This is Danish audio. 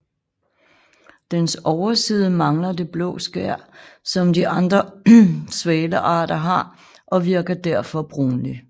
Dens overside mangler det blå skær som de andre svalearter har og virker derfor brunlig